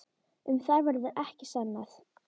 Um það verður ekkert sannað.